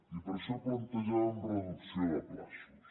i per això plantejàvem reducció de terminis